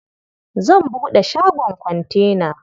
Zan buɗe shagon kontena.